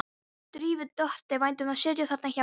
Drífu þótti vænt um að sitja þarna hjá henni.